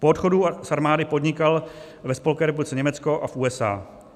Po odchodu z armády podnikal ve Spolkové republice Německo a v USA.